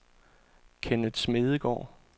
Kenneth Smedegaard